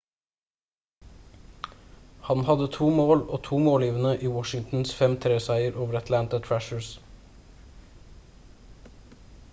han hadde to mål og to målgivende i washingtons 5-3 seier over atlanta thrashers